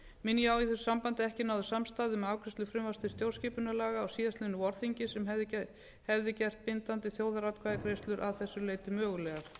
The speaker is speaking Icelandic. minni ég á í þessu sambandi að ekki náðist samstaða um afgreiðslu frumvarps til stjórnskipunarlaga á síðastliðnu vorþingi sem hefði gert gildandi þjóðaratkvæðagreiðslur að þessu leyti mögulegar